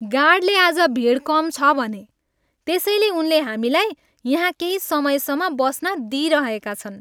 गार्डले आज भिड कम छ भने। त्यसैले उनले हामीलाई यहाँ केही समयसम्म बस्न दिइरहेका छन्।